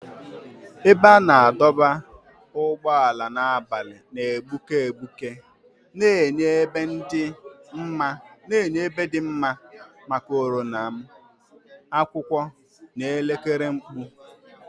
Ebe a na-adọba ụgbọala n'abalị na-egbuke egbuke, na-enye ebe dị mma maka oriọna m, akwụkwọ, na elekere mkpu.